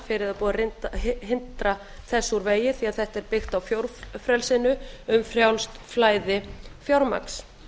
það er búið að hrinda þessu úr vegi því að þetta er byggt á fjórfrelsinu um frjálst flæði fjármagns